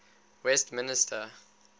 westminster